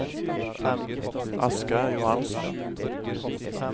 Asgeir Johansen